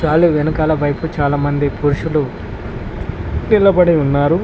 Trolley వెనకాల వైపు చాలా మంది పురుషులు నిలబడి ఉన్నారు.